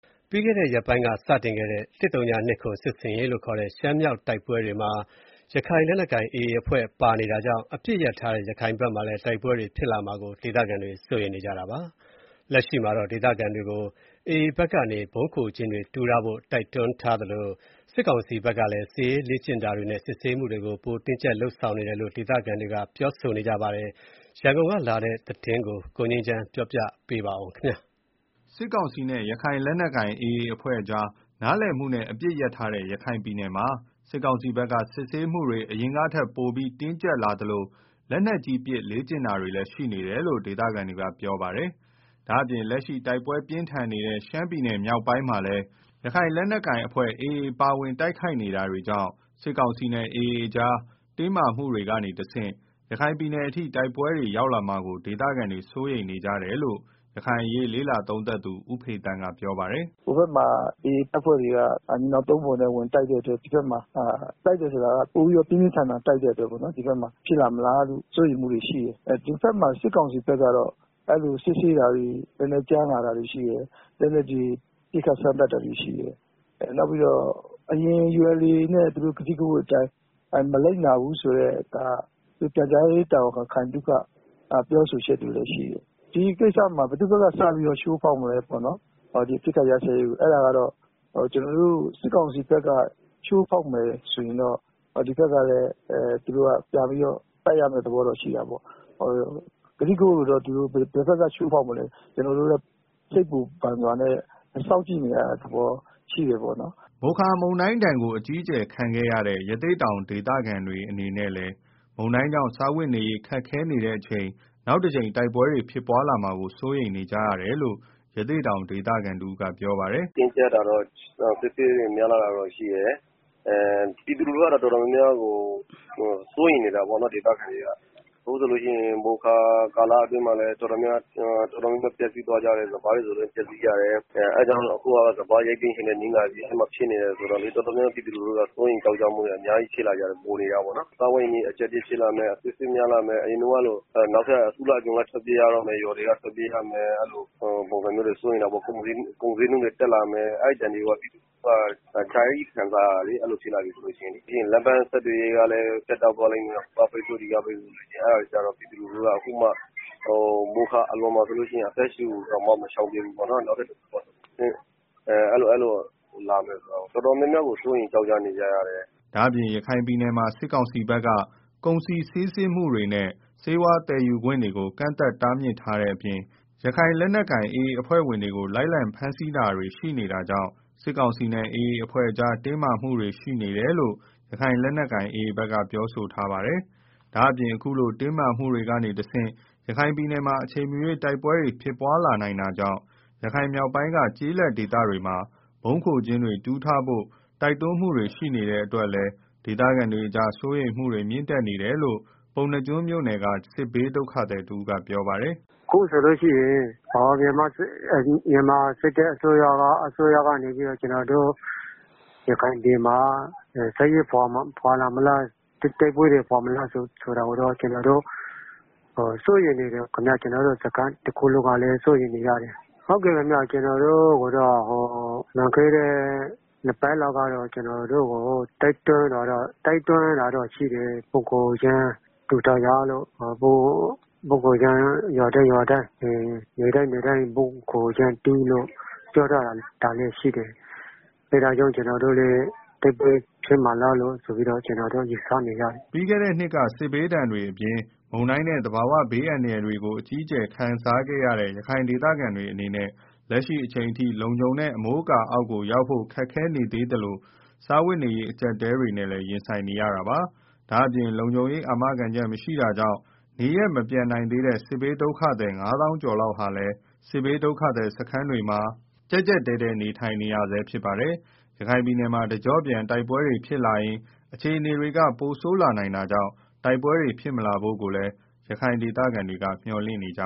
ပြီးခဲ့တဲ့ ရက်ပိုင်းက စတင်ခဲ့တဲ့ ၁၀၂၇ စစ်ဆင်ရေးလို့ခေါ်တဲ့ ရှမ်းမြောက်တိုက်ပွဲတွေမှာ ရခိုင် လက်နက်ကိုင် AA အဖွဲ့ပါဝင်နေတာကြောင့် အပစ်ရပ်ထားတဲ့ ရခိုင်မှာ တိုက်ပွဲတွေဖြစ်လာမှာကို ဒေသခံတွေက စိုးရိမ်နေကြတာပါ။ လက်ရှိမှာတော့ ဒေသခံတွေကို AA ဘက်ကနေ ဗုံးခို ကျင်းတွေ တူးထားဖို့ တိုက်တွန်းထားသလို စစ်ကောင်စီဖက်ကလည်း စစ်ရေးလေ့ကျင့်တာတွေ နဲ့ စစ်ဆေးမှုတွေပိုတင်းကြပ်လာတယ်လို့ ဒေသခံတွေက ပြောဆိုကြပါတယ်။ ရန်ကုန်ကလာတဲ့ သတင်းကို ကိုငြိမ်းချမ်း ကတင်ပြပေးပါမယ်။ စစ်ကောင်စီနဲ့ ရခိုင် လက်နက်ကိုင် AA အဖွဲ့ကြား နားလည်မှုနဲ့ အပစ်ရပ်ထားတဲ့ ရခိုင်ပြည်နယ်မှာ စစ်ကောင်စီဘက်က စစ်ဆေးမှုတွေ အရင်ကထက်ပိုပြီးတော့ တင်းကြပ်လာသလို လက်နက်ကြီးပစ် လေ့ကျင့်တာတွေ ရှိနေတယ်လို့ ဒေသခံတွေက ပြောဆိုကြပါတယ်။ ဒါ့အပြင်လက်ရှိ တိုက်ပွဲပြင်းထန်နေတဲ့ ရှမ်းမြောက်တိုက်ပွဲတွေမှာလည်း ရခိုင်လက်နက်ကိုင် AAအဖွဲ့ ပါဝင် တိုက်ခိုက်နေတာတွေကြောင့် စစ်ကောင်စီနဲ့ AAအဖွဲ့ကြား တင်းမာမှုတွေကနေတဆင့် ရခိုင်အထိ တိုက်ပွဲတွေ ရောက်လာမှာကို ဒေသခံတွေ စိုးရိမ်နေကြတယ်လို့ ရခိုင်အရေး လေ့လာသုံးသပ်သူ ဦးဖေသန်းက ပြောပါတယ်။ “ ဟိုဘက်မှာ AA က ညီနောင်သုံးဖော်နဲ့ ဝင်တိုက်တဲ့အတွက် တိုက်တယ်ဆိုတာကလည်း ပိုပြီးတော့ ပြင်းပြင်းထန်ထန်တိုက်တယ်ပေါ့နော် အဲဒါကြောင့် ဒီဘက်မှာ ဖြစ်လာမလားလို့ စိုးရိမ်မှုတွေ ရှိတယ်၊ ဒီဘက်မှာ စစ်ကောင်စီဘက်ကတော့ စစ်ဆေးတာတွေ ကြမ်းလာတယ်၊ လက်နက်တွေ ပစ်ခတ် စမ်းသပ် တာတွေရှိတယ်၊ နောက်ပြီးတော့ ULA/AAနဲ့ ထားထားတဲ့ ကတိကဝတ်တွေကို မလိုက်နာဘူးဆိုပြီး ပြန်ကြားရေးတာဝန်ခံ ခိုင်သုခ ပြောထားတာလည်း ရှိတယ်၊ ဆိုတော့ ဒီကိစ္စမှာ ဘယ်သူ့ဘက်က စပြီးတော့ အပစ်ခတ်ရပ်စဲရေး ကို ချိုးဖောက်မလဲ စစ်ကောင်စီဘက်က ချိုးဖောက်မယ်ဆိုရင်တော့ ဒီဘက်ကလည်း ပြန်ပြီးတော့ တိုက်ရမယ့် သဘောရှိတယ်။ ဘယ်ဘက်က ချိုးဖောက်မလဲဆိုတာ ကျနော်တို့လည်း စိုးရိမ်ပူပန်မှုတွေနဲ့ စောင့်ကြည့်နေရတဲ့ သဘောရှိတာပေါ့နော်။” မိုခါမုန်တိုင်း တိုက်ခတ်မှုဒဏ်ကို အကြီးအကျယ်ခံခဲ့ရတဲ့ ရသေ့တောင် ဒေသခံတွေ အနေနဲ့လည်း မုန်တိုင်းကြောင့် စားဝတ်နေရေး ခက်ခဲနေတဲ့ အချိန် နောက်ထပ်တကြိမ် တိုက်ပွဲဖြစ်လာမှာကို စိုးရိမ်နေကြရတယ်လို့ ရသေ့တောင် ဒေသခံတဦးကပြောပါတယ်။ “ တင်းကြပ်တာတွေ စစ်ဆေးတွေ များလာတာတော့ရှိတယ်၊ ဒေသခံ ပြည်သူတွေ တော်တော် များများ ကတော့ စိုးရိမ်နေကြတာပေါ့နော်၊ မိုခါတုန်းကလည်း ပျက်စီးကြတယ် စပါးတွေ ဆိုရင်လည်း ပျက်စီးကြတယ်၊ အဲတာကြောင့် အခုကလည်း စပါးရိတ်သိမ်းချိန်နဲ့ နီးလာပြီဆို တော့ တော်တော်များများ ပြည်သူတွေက စိုးရိမ်နေကြတယ်၊ စားဝတ်နေရေး ကြပ်တည်း လာမယ်။ အစစ်အဆေး များလာမယ်၊ အရင်ကလို နောက်ထပ် အစုလိုက်အပြုံလိုက် ထွက် ပြေးရမယ်၊ ကုန်ဈေးနှုန်းတွေ တက်လာမယ်။ အဲဒဏ်တွေကို ပြည်သူလူထုက အကြကြီး ခံစား ရတာဆိုတော့ တိုက်ပွဲဖြစ်လာရင် ပြီးရင်ဆက်သွယ်ရေး ပြတ်တောက်မှာတွေ၊ ဟိုက ပိတ်ဆို့ ဒီက ပိတ်ဆို့နဲ့တော့ မိုခါအလွန် အသက်ရှုတောင် မချောင်သေးတဲ့ အချိန် နောက်ထပ် တိုက်ပွဲ ဖြစ်လာမှာကို တော်တော် စိုးရိမ်နေကြတယ်။” ဒါ့အပြင် ရခိုင်ပြည်နယ်မှာ စစ်ကောင်စီဘက်က ကုန်စည်စီးဆင်းမှုတွေနဲ့ ဆေးဝါးသယ် ယူခွင့်တွေကို ကန့်သတ်တားမြစ်ထားတဲ့ အပြင် ရခိုင်လက်နက်ကိုင် AA အဖွဲ့ဝင်တွေကို လိုက်လံဖမ်းဆီးတာတွေ AAအမာခံတွေကို ဖမ်းဆီးတာတွေ ရှိနေတာကြောင့် စစ်ကောင်စီနဲ့ AAအဖွဲ့ကြား တင်းမာမှုတွေ ရှိနေတယ်လို့ ရခိုင်လက်နက်ကိုင် AA က ပြောဆိုထားပါတယ်။ ဒါ့အပြင် အခုလို တင်းမာမှုတွေကနေတဆင့် ရခိုင်မှာ အချိန်မရွေးတိုက်ပွဲ ဖြစ်လာနိုင်တာကြောင့် ရခိုင်မြောက်ပိုင်းက ကျေး လက်ဒေသတွေမှာ ဗုံးခိုကျင်းတွေ တူးထားဖို့ပါ တိုက်တွန်းမှုတွေ ရှိနေတဲ့ အတွက်ကြောင့် ဒေသခံတွေကြား စိုးရိမ်မှုတွေ မြင့်တက်နေကြတယ်လို့ ပုဏ္ဏားကျွန်းမြို့ နယ်က စစ်ဘေးဒုက္ခသည် တဦးကပြောပါတယ်။ “ အခုဆိုလို့ရှိရင် စစ်တပ်က ကျနော်တို့ ရခိုင်ပြည်နယ်မှာ တိုက်ပွဲတွေ ဖော်မလားဆိုတာကိုတော့ ကျနော်တို့ စိုးရိမ်နေကြတယ်၊ ကျနော်တို့ ဒုက္ခသည်စခန်း တခုလုံးကလည်း စိုးရိမ်နေကြတယ်၊ ကျနော်တို့ကို လွန်ခဲ့တဲ့ ၂ပတ်လောက်က တိုက်တွန်းတာ ရှိတယ် ဗုံးခိုကျင်းတွေ တူးထားကြ ရွာတိုင်း နယ်တိုင်းမှာ ဗုံးခိုကျင်းတူးလို့ ပြောထားတာတော့ရှိတယ်၊ အဲဒါကြောင့် တိုက်ပွဲ ဖြစ်လာမလားလို့ ကျနော်တို့ စိုးရိမ်နေကြတယ်။” ပြီးခဲ့တဲ့ နှစ်တွေက စစ်ဘေးဒဏ်တွေ အပြင် မုန်တိုင်းနဲ့ သဘာဝဘေး အန္တရာယ်တွေကို အကြီးအကျယ်ခံခဲ့ရတဲ့ ရခိုင်ဒေသခံတွေ အနေနဲ့ လက်ရှိအချိန် အထိ လုံခြုံတဲ့ အမိုးအကာ အောက်ကို ရောက်ဖို့ ခက်ခဲနေသေးသလို စားဝတ်နေရေး အကြပ်အတည်းတွေနဲ့ ရင်ဆိုင် နေကြရဆဲပါ။ ဒါ့အပြင် လုံခြုံရေး အာမခံချက်မရှိတာကြောင့် နေရပ်မပြန်နိုင်သေးတဲ့ စစ်ဘေး ဒုက္ခသည် ၅သောင်းကျော် လောက်ဟာလည်း စစ်ဘေးဒုက္ခသည် စခန်းတွေမှာ ကြပ်ကြပ်တည်း တည်း နေထိုင်နေရဆဲ ဖြစ်ပါတယ်။ ရခိုင်မှာ တကျော့ပြန်တိုက်ပွဲတွေ ဖြစ်လာရင် အခြေနေက ပိုဆိုးလာနိုင်တာကြောင့် တိုက်ပွဲတွေ ဖြစ်မလာဖို့ ရခိုင်ဒေသခံတွေ မျှော်လင့်နေကြ